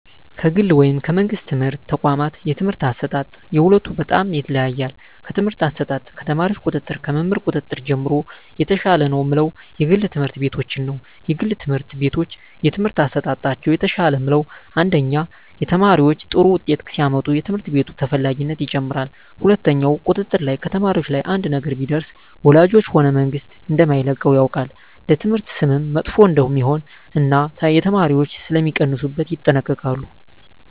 ከግል ወይም ከመንግሥት የትምህርት ተቋዋማት የትምህርት አሰጣጥ የሁለቱ በጣም ይለያያል ከትምህርት አሰጣጥ ከተማሪዎች ቁጥጥር ከመምህር ቁጥጥር ጀምሮ የተሻለ ነው ምለው የግል ትምህርት ቤቶችን ነዉ የግል ትምህርት ቤቶች የትምህርት አሠጣጣቸው የተሻለ ምለው አንደኛ ተማሪዎች ጥሩ ውጤት ሲያመጡ የትምህርት ቤቱ ተፈላጊነት ይጨምራል ሁለትኛው ቁጥጥር ላይ ከተማሪዎች ላይ አንድ ነገር ቢደርስ ወላጆች ሆነ መንግስት እደማይለቀው ያውቃል ለትምህርት ስምም መጥፎ እደሜሆን እና የተማሪዎች ሥለሚቀንሡበት ይጠነቀቃሉ